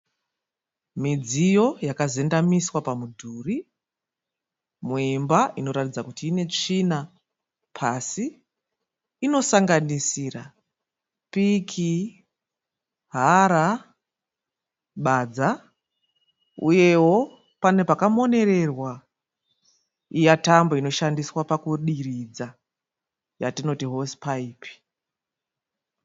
Midziyo yakazendamiswa pamudhuri muimba inoratidza kuti ine tsvina pasi. Inosanganisira piki, hara, badza uyewo pane pakamonererwa iya tambo inoshandiswa pakudiridza yatinoti hosipaipi.